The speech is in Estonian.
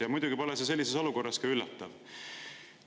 Ja muidugi pole see sellises olukorras ka üllatav.